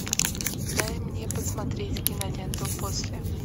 дай мне посмотреть киноленту после